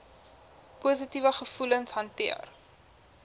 positiewe gevoelens hanteer